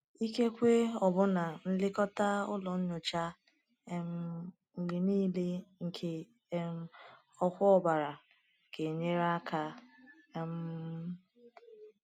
Ikekwe ọbụna nlekọta ụlọ nyocha um mgbe niile nke um ọkwa ọbara ga-enyere aka. um